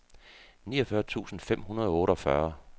niogfyrre tusind fem hundrede og otteogfyrre